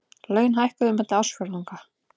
Laun hækkuðu milli ársfjórðunga